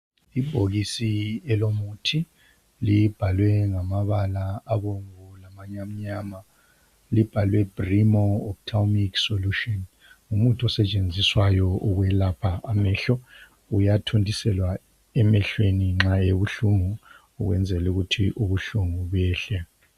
Ibhokisi elomuthi, libhalwe ngamabala abomvu lamanye amnyama. Libhalwe Brimo Opthalmic Solution. Ngumuthi osetshenziswayo ukwelapha amehlo, uyathontiselwa emehlweni nxa ebuhlungu ukwenzela ukuthi ubuhlungu behle.